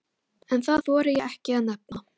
En það þori ég ekki að nefna.